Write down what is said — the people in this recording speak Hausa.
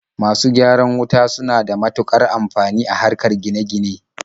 Masu gyaran wuta suna da matuƙar amfani a harkar gine-gine.